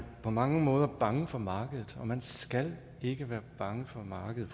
på mange måder bange for markedet man skal ikke være bange for markedet